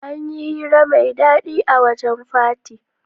Anyi hira mai dadi a wajan fati